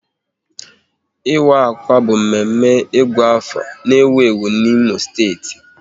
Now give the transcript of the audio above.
Ịwa akwa bụ mme mme Ịgụ afọ n'ewu ewu n'Imo steeti